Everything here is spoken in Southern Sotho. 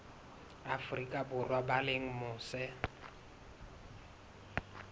afrika borwa ba leng mose